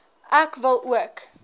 ek wil ook